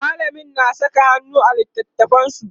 mallamin na Saka hannu a littatafansu